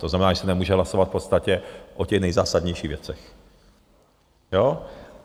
To znamená, že se nemůže hlasovat v podstatě o těch nejzásadnějších věcech.